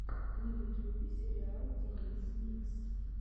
на ютюбе сериал денисмикс